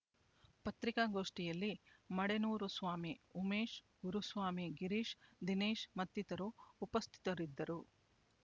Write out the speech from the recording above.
ಪತ್ರಿಕಾಗೋಷ್ಠಿಯಲ್ಲಿ ಮಡೇನೂರು ಸ್ವಾಮಿ ಉಮೇಶ್ ಗುರುಸ್ವಾಮಿ ಗಿರೀಶ್ ದಿನೇಶ್ ಮತ್ತಿತರರು ಉಪಸ್ಥಿತರಿದ್ದರು